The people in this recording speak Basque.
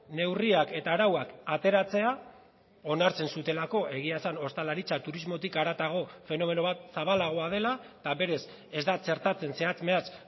neurriak eta arauak ateratzea onartzen zutelako egia esan ostalaritza turismotik haratago fenomeno bat zabalagoa dela eta berez ez da txertatzen zehatz mehatz